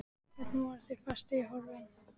Hvernig voru þeir festir á orfin?